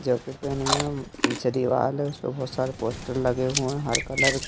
जब भी पहने हैं हम पीछे दीवाल है उस पे बहुत सारे पोस्टर लगे हुए हैं हर कलर के।